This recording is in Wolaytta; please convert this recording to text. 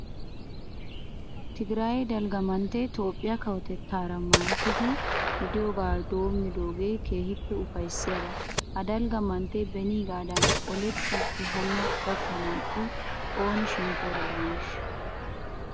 Tigiraaye dalgga manttee Toophphiya kawotettaara maayettidi de'iyogaa doommidoogee keehippe ufayssiyaba. Ha dalgga manttee beniigaadan olettiiddi hanno gakkiyakko ooni shemppoora de'aneeshsha?